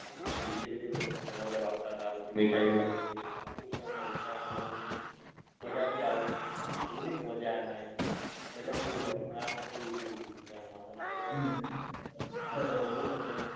અને dj બીજે બી ઘણા બધા વાગતા તા. પછી મીઠાઈ બી લાઈ તી. વાસી ઉતરાયણ ને ઉત્તરાયણ ને બધું મજા બી આવી એવું નતું કે મજા ના આવી. મજા બી બૌ આવી. આ વખતે થોડું ઓછું હતું ઉત્તરાયણમાં એના કરતા